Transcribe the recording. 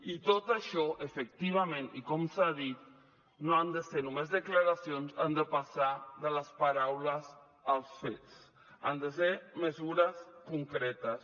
i tot això efectivament i com s’ha dit no han de ser només declaracions han de passar de les paraules als fets han de ser mesures concretes